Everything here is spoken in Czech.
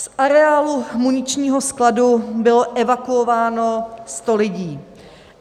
Z areálu muničního skladu bylo evakuováno 100 lidí.